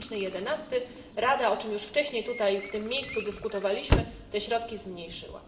2011. Rada o czym już wcześniej tutaj w tym miejscu dyskutowaliśmy te środki zmniejszyła.